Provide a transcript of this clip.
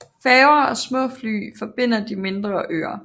Færger og småfly forbinder de mindre øer